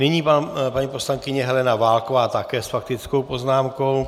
Nyní paní poslankyně Helena Válková, také s faktickou poznámkou.